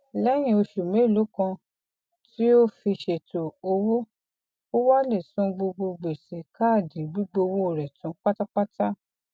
lẹhìn oṣù mélòó kan tí ó fi ṣètò owó ó wá lè san gbogbo gbèsè káàdì gbígbówó rẹ tán pátápátá